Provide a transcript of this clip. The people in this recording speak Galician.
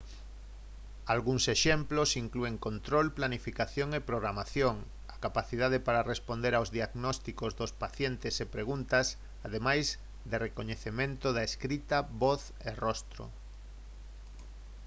algúns exemplos inclúen control planificación e programación a capacidade para responder aos diagnósticos dos pacientes e preguntas ademais de recoñecemento da escrita voz e rostro